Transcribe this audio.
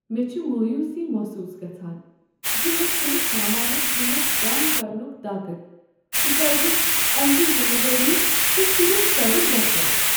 مےٚ چھِ مایوٗسی محصوص گژھان زِ مے٘ چھُنہٕ سامانُک قۭمتھ كم كرنُک طاقت تکیاز امِچ ذِمہٕ وٲری چھےٚ صِرف صدر دفترس۔